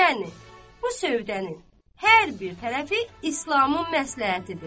Yəni, bu sövdənin hər bir tərəfi İslamın məsləhətidir.